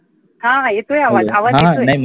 हा हा येतोय आवाज, आवाज येतोय